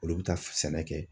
Olu bɛ taa sɛnɛ kɛ.